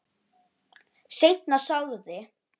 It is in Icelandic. Seinna sagði